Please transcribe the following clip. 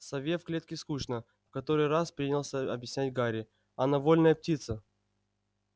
сове в клетке скучно в который раз принялся объяснять гарри она вольная птица